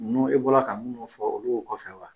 e bɔra ka minnu fɔ olu y'o kɔfɛ wa?